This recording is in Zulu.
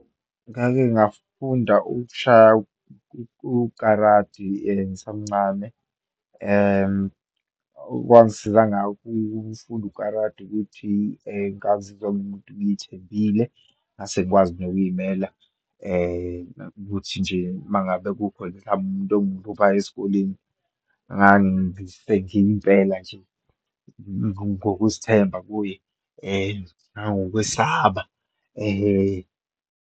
Ngake ngafunda ukushaya u-karate ngisamncane. Okwangisiza ngakho ukufunda u-karate ukuthi ngazizwa ngiwumuntu ngiyithembile, ngase ngikwazi nokuyimela, ukuthi nje uma ngabe kukhona, mhlampe umuntu ongihluphayo esikoleni, ngangisengiya impela nje ngokuzithemba kuye, nangokwesaba ehe.